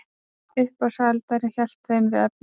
Uppboðshaldarinn hélt þeim við efnið.